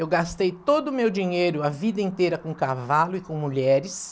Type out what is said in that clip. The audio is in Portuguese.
Eu gastei todo o meu dinheiro, a vida inteira, com cavalo e com mulheres.